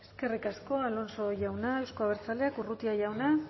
eskerrik asko alonso jauna euzko abertzaleak urrutia jauna